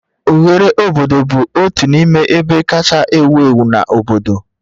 Oghere obodo bụ otu n'ime ebe kacha ewu ewu na obodo